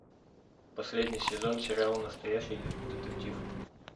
последний сезон сериала настоящий детектив